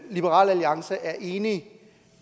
liberal alliance er enig